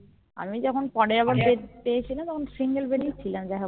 আমি যখন পরে bed পেয়েছিলাম তখন Single bed এই ছিলাম যাই হোক